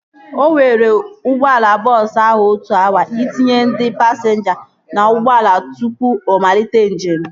O were ụgbọala bọọsu ahụ otu awa itinye ndị pasinja na ụgbọala tụpụ ọ malite njem